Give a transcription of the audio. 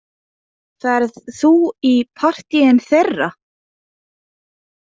Ferð þú í partíin þeirra?